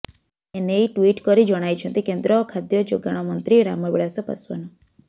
ଏନେଇ ଟ୍ୱିଟ କରି ଜଣାଇଛନ୍ତି କେନ୍ଦ୍ର ଖାଦ୍ୟ ଯୋଗାଣ ମନ୍ତ୍ରୀ ରାମବିଳାସ ପାଶ୍ୱାନ